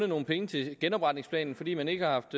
nogle penge til genopretningsplanen fordi man ikke har haft